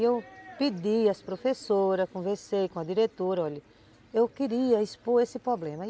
E eu pedi às professoras, conversei com a diretora, olha, eu queria expor esse problema.